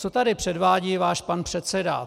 Co tady předvádí váš pan předseda?